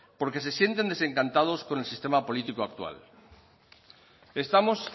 porque se sienten desencantados con el sistema político actual estamos